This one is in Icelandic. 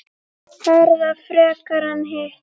Herða frekar en hitt?